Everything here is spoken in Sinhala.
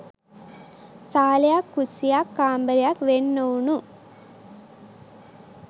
සාලයක් කුස්සියක් කාමරයක් වෙන් ‍නොවුනු